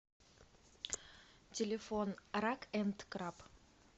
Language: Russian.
телефон рак энд краб